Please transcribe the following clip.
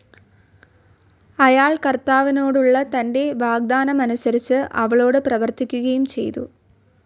അയാൾ കർത്താവിനോടുള്ള തൻ്റെ വാഗ്ദാനമനുസരിച്ച് അവളോട് പ്രവർത്തിക്കുകയും ചെയ്തു.